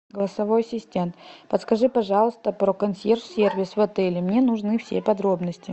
голосовой ассистент подскажи пожалуйста про консьерж сервис в отеле мне нужны все подробности